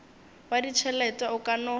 wa ditšhelete o ka no